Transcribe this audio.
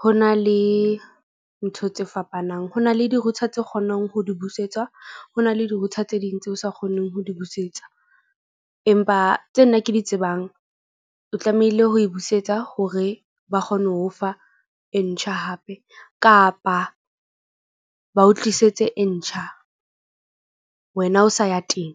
ho na le ntho tse fapana ng. Ho na le di-router tse kgonang ho di busetswa. Ho na le di-router tse ding tse sa kgoneng ho di busetsa. Empa tse nna ke di tsebang. O tlamehile ho e busetsa hore ba kgone ho fa e ntjha hape, kapa ba o tlisetse e ntjha, wena o sa ya teng.